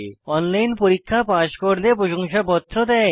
online পরীক্ষা pass করলে প্রশংসাপত্র দেয়